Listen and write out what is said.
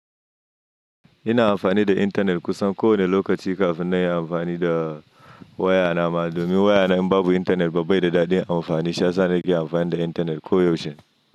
Ina amfani da intanet kusan kowane lokaci kafin na yi amfani da waya na ma, domin waya na in babu intanet ba bai da dadin amfani. Shi yasa na ke amfani da intanet koyaushe.